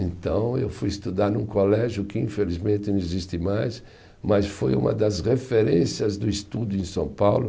Então eu fui estudar num colégio que infelizmente não existe mais, mas foi uma das referências do estudo em São Paulo.